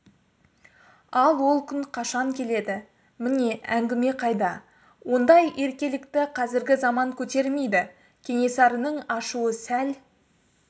ал ол күн қашан келеді міне әңгіме қайда ондай еркелікті қазіргі заман көтермейді кенесарының ашуы сәл